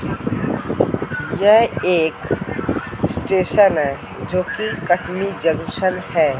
यह एक स्टेशन है जो कि कटनी जंक्शन है।